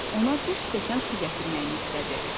Ona bir stəkan su gətirməyimi istədi.